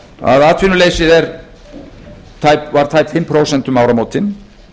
að atvinnuleysið var tæp fimm prósent um áramótin